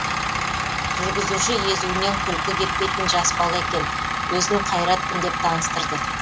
жүргізуші езуінен күлкі кетпейтін жас бала екен өзін қайратпын деп таныстырды